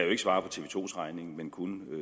svare på tv to to vegne men kun